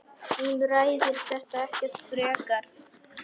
Hún ræðir þetta ekkert frekar.